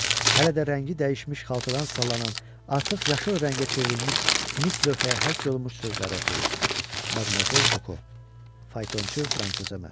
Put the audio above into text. Hələ də rəngi dəyişmiş xaltadan sallanan, artıq yaşıl rəngə çevrilmiş mis lövhəyə həkk olunmuş sözləri oxuyur: Madmazel Koko, faytonçu Fransoza məxsusdur.